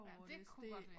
Ja dét kunne godt være